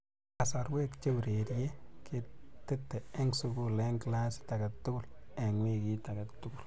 Kasorwe che urerie ketete eng sukul eng klasit age tugul eng wikit age tugul